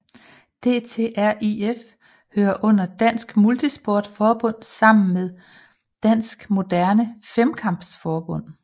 DTriF hører under Dansk MultiSport Forbund sammen med Dansk Moderne Femkamp Forbund